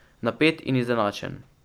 Napet in izenačen.